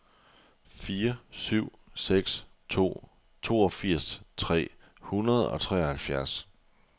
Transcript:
fire syv seks to toogfirs tre hundrede og treoghalvfjerds